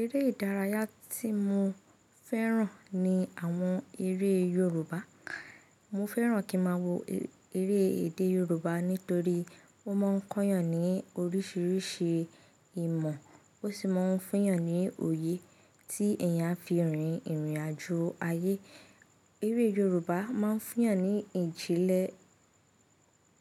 Eré ìdárayá tí mo fẹ́ràn ni àwọn eré Yorùbá. Mo fẹ́ràn kí máa wo eré èdè Yorùbá nítorí ó máa ń kọ́yàn ní oríṣiríṣi ìmọ̀, ó sì máa ń fún eeyàn ní òye tí èèyàn á fi rìn irìnàjò ayé. Eré Yorùbá máa ń fún àyàn ní ìjìnlẹ̀,